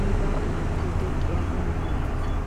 aybaa oottayda de'iyaba malatay?